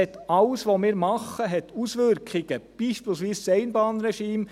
Alles, was wir machen, hat Auswirkungen, beispielsweise das Einbahnregime: